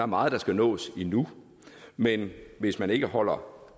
meget der skal nås endnu men hvis man ikke holder